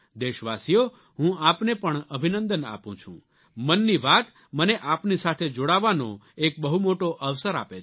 દેશવાસીઓ હું આપને પણ અભિનંદન આપું છું મનની વાત મને આપની સાથે જોડાવાનો એક બહુ મોટો અવસર આપે છે